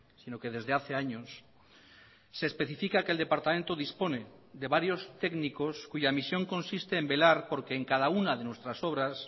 sino que desde hace años se especifica que el departamento dispone de varios técnicos cuya misión consiste en velar porque en cada una de nuestras obras